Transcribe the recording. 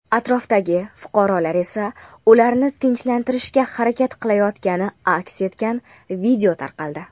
atrofdagi fuqarolar esa ularni tinchlantirishga harakat qilayotgani aks etgan video tarqaldi.